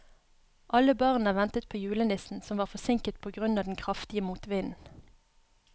Alle barna ventet på julenissen, som var forsinket på grunn av den kraftige motvinden.